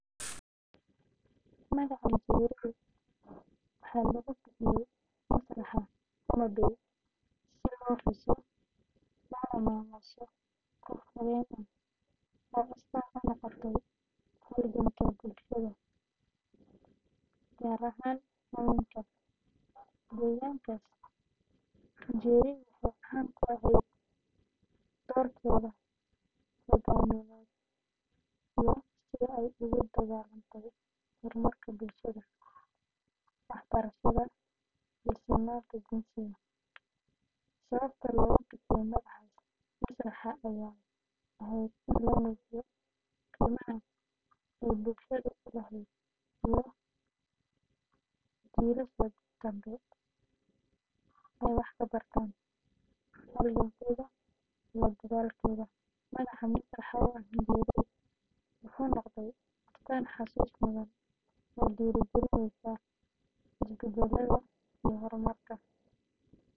Magaca Njeri waxaa lagu bixiyay masraxa Homa Bay si loo xuso loona maamuuso qof haween ah oo astaan u noqotay halganka bulshada, gaar ahaan haweenka, deegaankaas. Njeri waxay caan ku ahayd doorkeeda hoggaamineed iyo sida ay ugu dagaallantay horumarka bulshada, waxbarashada, iyo sinnaanta jinsiga. Sababta loogu bixiyay magacaas masraxa ayaa ahayd in la muujiyo qiimaha ay bulshada u lahayd iyo in jiilasha dambe ay wax ka bartaan halgankeeda iyo dadaalkeeda. Magaca masraxa oo ah Njeri wuxuu noqday astaan xusuus mudan oo dhiirrigelisa isbeddel iyo horumar.